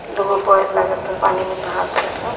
दूगो बैल लागत ह पानी में नहा तार स।